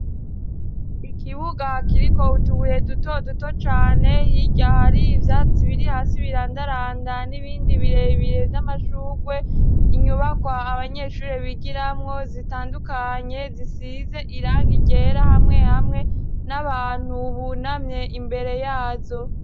Ikibuga kiriko wutubuye dutoduto cane yirya hari ivyati biri hasi birandaranda n'ibindi birebire vy'amashurwe, inyubakwa abanyeshurire bigiramwo zitandukanye zisize irangi ryera hamwe hamwe n'abantu bunamye imbere yazo.